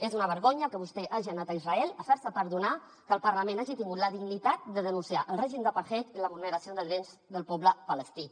és una vergonya que vostè hagi anat a israel a fer se perdonar que el parlament hagi tingut la dignitat de denunciar el règim d’apartheid i la vulneració de drets del poble palestí